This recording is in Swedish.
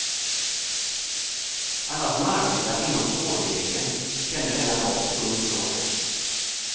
Alla som arbetar inom spårvägen kände denna dag tung sorg.